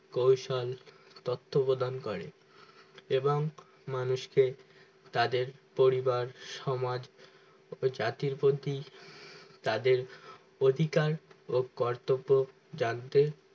কৌশল তত্ত্বাবধান করে এবং মানুষকে তাদের পরিবার সমাজ ও জাতির প্রতি তাদের অধিকারও কর্তব্য জানতে